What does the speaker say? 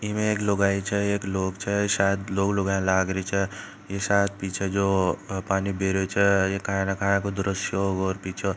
ईम एक लुगाई छ एक लोग छ सायद लोग लुगाई लगरा छे ये सायद पिछे जो पानी पिरो छे काय को दर्स्य होगा।